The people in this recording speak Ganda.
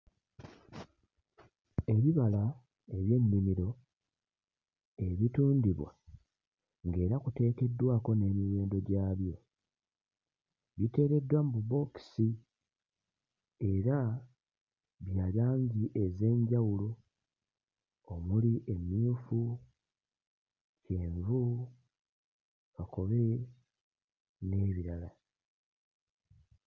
Ebibala eby'ennimiro ebitundibwa ng'era biteekeddwako n'emiwendo gyabyo biteereddwa mu bubookisi era bya langi ez'enjawulo omuli emmyufu, kyenvu, kakobe n'ebirala.